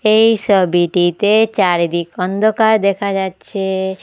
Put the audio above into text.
এই ছবিটিতে চারিদিক অন্ধকার দেখা যাচ্ছে।